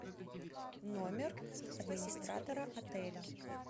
номер администратора отеля